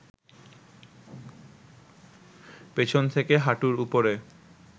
পেছন থেকে হাঁটুর উপরে